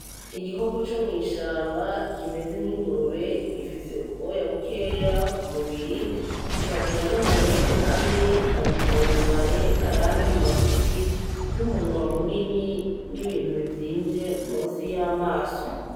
Igikoko co mw’ishamba Kimeze nk’ingurube, gifise ubwoya bukeya ku mubiri kikagira n’amahembe ane, abiri maremare ayandi magufi n’umunwa munini n’ibintu bivyimvye musi y’amaso.